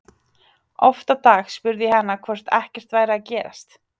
Oft á dag spurði ég hana hvort ekkert væri að gerast.